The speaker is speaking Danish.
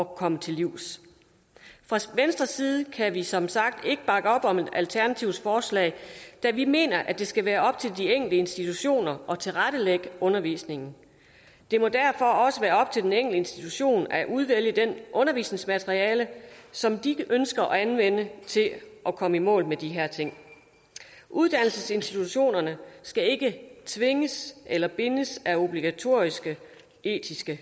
komme til livs fra venstres side kan vi som sagt ikke bakke op om alternativets forslag da vi mener at det skal være op til de enkelte institutioner at tilrettelægge undervisningen det må derfor også være op til den enkelte institution at udvælge det undervisningsmateriale som de ønsker at anvende til at komme i mål med de her ting uddannelsesinstitutionerne skal ikke tvinges eller bindes af obligatoriske etiske